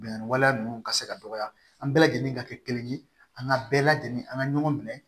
Bɛnganni waleya ninnu ka se ka dɔgɔya an bɛɛ lajɛlen ka kɛ kelen ye an ka bɛɛ lajɛlen an ka ɲɔgɔn minɛ